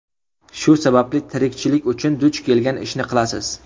Shu sababli tirikchilik uchun duch kelgan ishni qilasiz.